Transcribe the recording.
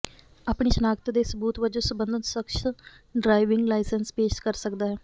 ਆਪਣੀ ਸ਼ਨਾਖਤ ਦੇ ਸਬੂਤ ਵਜੋਂ ਸਬੰਧਤ ਸਖਸ਼ ਡਰਾਈਵਿੰਗ ਲਾਇਸੈਂਸ ਪੇਸ਼ ਕਰ ਸਕਦਾ ਹੈ